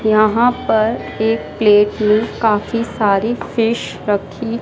यहाँ पर एक प्लेट में काफी सारी फिश रखीं--